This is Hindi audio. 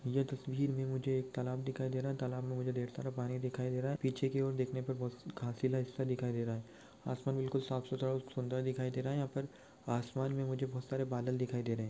यह तस्वीर में मुझे एक तालाब दिखाई दे रहा है तालाब में मुझे ढेर सारा पानी दिखाई दे रहा है पीछे की ओर देखने पर बहुत खासिला हिस्सा दिखाई दे रहा है आसमान बिल्कुल साफ- सुथरा और सुंदर दिखाई दे रहा है यहाँ पर आसमान में मुझे बहुत सारे बादल दिखाई दे रहे हैं।